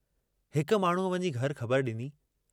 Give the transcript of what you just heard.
हिक माण्हूअ वञी घर ख़बर डिनी।